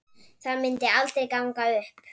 Það myndi aldrei ganga upp.